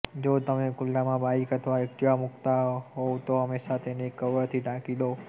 જો તમે ખુલ્લામાં બાઈક અથવા એક્ટિવા મૂકતા હોવ તો હમેશાં તેને કવરથી ઢાંકી દો